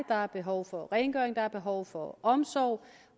der er behov for rengøring der er behov for omsorg